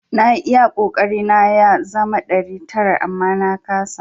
Na yi iya kokari na ya zama ɗari tara amma na kasa.